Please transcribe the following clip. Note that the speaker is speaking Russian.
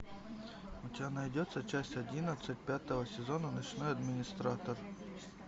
у тебя найдется часть одиннадцать пятого сезона ночной администратор